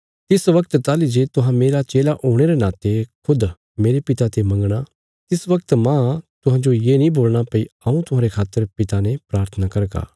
तिस वगत ताहली जे तुहां मेरा चेला हुणे रे नाते खुद मेरे पिता ते मंगणा तिस बगत माह तुहांजो ये नीं बोलणा भई हऊँ तुहांरे खातर पिता ने प्राथना करगा